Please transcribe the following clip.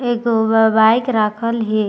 एगो बा बाइक रखल हे।